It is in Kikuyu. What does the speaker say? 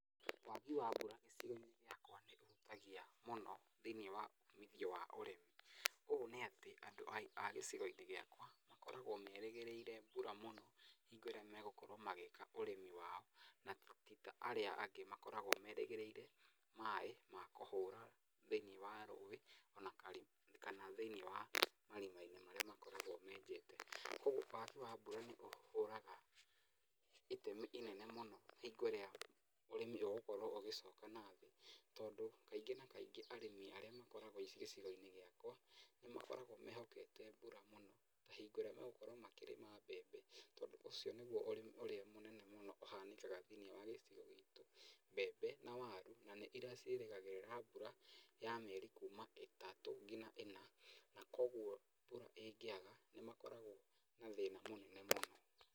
Wagi wa mbura gĩcigo-inĩ gĩakwa nĩ ũhutagia mũno thĩinĩ w uumithio wa ũrĩmi. Ũũ nĩ atĩ andũ a gĩcigo-inĩ gĩakwa makoragwo merĩgĩrĩire mbura mũno hingo ĩrĩa megũkorwo magĩĩka ũrĩmi wao. Na ti ta arĩa angĩ makorwgwo merĩgĩrĩire maĩ ma kũhũra thĩinĩ wa rũĩ ona kana thĩinĩ wa marima-inĩ marĩa makorwgwo menjete. Kwoguo wagi wa mbura nĩ ũhũraga itemi inene mũno hingo ĩrĩa ũrĩmi ũgĩkorwo ũgĩcoka na thĩ, tondũ kaingĩ na kaingĩ arĩmi arĩa makorgwo gĩcigo-inĩ gĩakwa nĩ makoragwo mehokete mbura mũno ta hingo ĩrĩa megũkorwo makĩrĩma mbembe, tondũ ũcio nĩguo ũrĩmi ũrĩa mũnene ũhanĩkaga gĩcigo-inĩ gitũ. Mbembe na waru na nĩ irĩa ciĩrĩgagĩrĩra mbura ya mĩeri kuuma ĩtatũ nginya ĩna, na kwoguo mbura ĩngĩaga nĩ makorgwo na thĩna mũnene mũno.